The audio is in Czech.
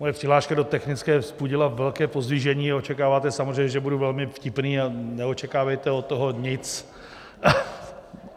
Moje přihláška do technické vzbudila velké pozdvižení, očekáváte samozřejmě, že budu velmi vtipný, ale neočekávejte od toho nic.